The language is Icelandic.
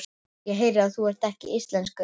Ég heyri að þú ert ekki íslenskur.